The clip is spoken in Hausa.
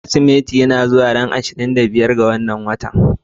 Kirsimeti yana zuwa a ranar ashirin da biyar ga wannan watan.